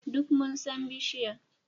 Duk mun san bishiyar.